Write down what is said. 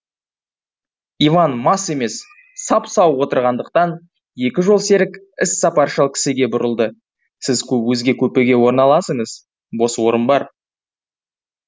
иван мас емес сап сау отырғандықтан екі жолсерік іссапаршыл кісіге бұрылды сіз өзге купеге орналасыңыз бос орын бар